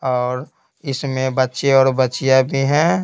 और इसमें बच्चे और बच्चियां भी हैं।